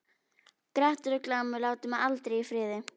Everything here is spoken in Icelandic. Grettir og Glámur láta mig aldrei í friði.